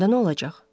Onda nə olacaq?